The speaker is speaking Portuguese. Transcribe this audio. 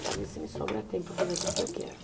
Para ver se me sobra tempo para fazer aquilo que eu quero.